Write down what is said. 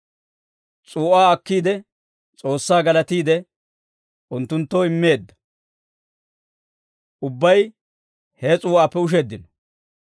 S'uu'aa akkiide, S'oossaa galatiide, unttunttoo immeedda; ubbay he s'uu'aappe usheeddino.